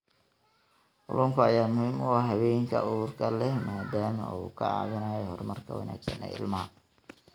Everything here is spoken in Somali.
Kalluunka ayaa muhiim u ah haweenka uurka leh maadaama uu ka caawinayo horumarka wanaagsan ee ilmaha.